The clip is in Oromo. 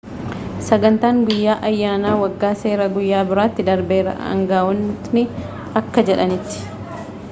sagantaan guyyan ayyaanaa waggaa seeraa guyya biraatti darbeera aangawootni akka jedhanitti